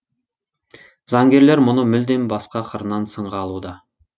заңгерлер мұны мүлдем басқа қырынан сынға алуда